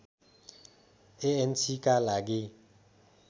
एएनसीका लागि